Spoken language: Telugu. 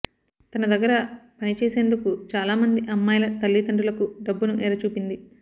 తన దగ్గర పనిచేసేందుకు చాలా మంది అమ్మాయిల తల్లిదండ్రులకు డబ్బును ఎర చూపింది